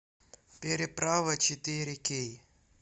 переправа четыре кей